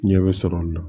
Ɲɛ bɛ sɔrɔ o la